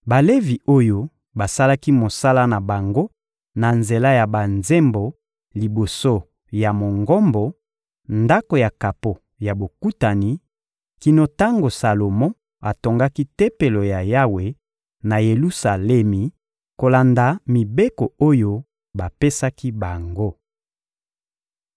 Balevi oyo basalaki mosala na bango na nzela ya banzembo liboso ya Mongombo, Ndako ya kapo ya Bokutani, kino tango Salomo atongaki Tempelo ya Yawe na Yelusalemi, kolanda mibeko oyo bapesaki bango.